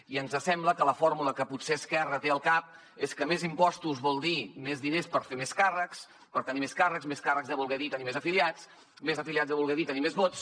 i ens sembla que la fórmula que potser esquerra té al cap és que més impostos vol dir més diners per fer més càrrecs per tenir més càrrecs més càrrecs deu voler dir tenir més afiliats més afiliats deu voler dir tenir més vots